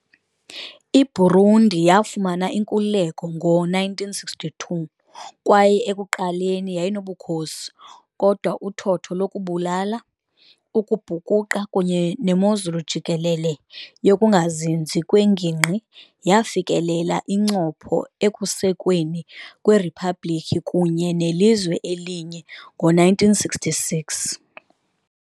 IBurundi yafumana inkululeko ngo-1962 kwaye ekuqaleni yayinobukhosi, kodwa uthotho lokubulala, ukubhukuqa kunye nemozulu jikelele yokungazinzi kwengingqi yafikelela incopho ekusekweni kweriphabliki kunye nelizwe elinye ngo-1966.